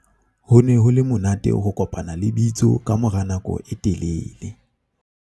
ho ne ho le monate ho kopana le bitso ka mora nako e telele